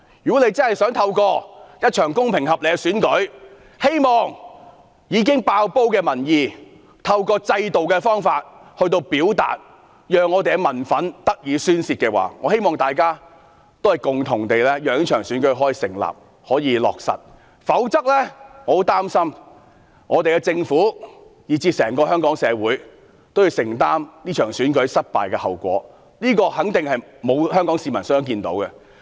如果政府真的想透過一場公平合理的選舉，讓已經"爆煲"的民意以選舉制度來表達，讓民憤得以宣泄，希望大家共同讓這場選舉可以落實，否則，我很擔心政府，以至整個香港社會都要承擔這場選舉失敗的後果，這肯定是沒有香港市民想看到的。